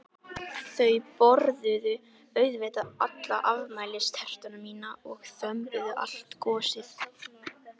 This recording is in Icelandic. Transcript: Þau borðuðu auðvitað alla afmælistertuna mína og þömbuðu allt gosið.